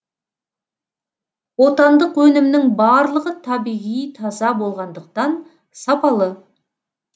отандық өнімнің барлығы табиғи таза болғандықтан сапалы